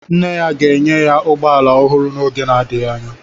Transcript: Nne ya ga-enye ya ụgbọ ala ọhụrụ n'oge adịghị anya.